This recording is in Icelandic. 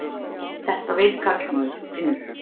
Þetta veit karlmaður og finnur.